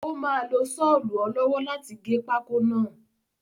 Ó máa lo sọlu ọ lọ́wọ́ láti gé pákó náà.